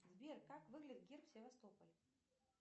сбер как выглядит герб севастополя